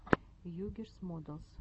югирс модэлс